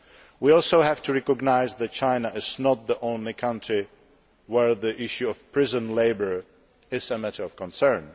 We also have to recognise that China is not the only country where the issue of prison labour is a matter of concern.